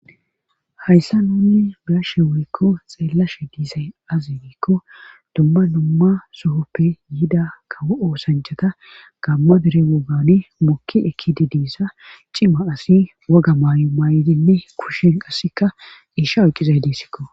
hayssa nunni be7ashe woykko xeellashe diisay azi geikko dumma numma sohoppe yida kawo oosanchata gamma dere wogani mokki ekkidi diissa cima asi woga maayo maay7idinne kushen qassikka isha oyqqizay diisikko